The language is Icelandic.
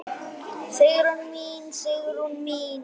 Sigrún mín, Sigrún mín.